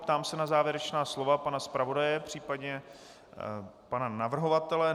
Ptám se na závěrečná slova pana zpravodaje, případně pana navrhovatele.